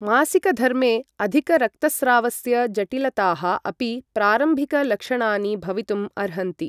मासिकधर्मे अधिक रक्तस्रावस्य जटिलताः अपि प्रारम्भिक लक्षणानि भवितुम् अर्हन्ति।